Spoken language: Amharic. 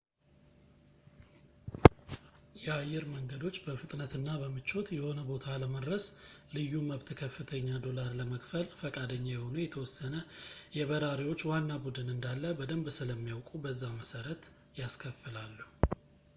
የአየር መንገዶች በፍጥነትና በምቾት የሆነ ቦታ ለመድረስ ልዩ መብት ከፍተኛ ዶላር ለመክፈል ፈቃደኛ የሆኑ የተወሰነ የበራሪዎች ዋና ቡድን እንዳለ በደምብ ስለሚያውቁ በዛ መሰረት ያስከፍላሉ